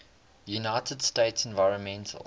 united states environmental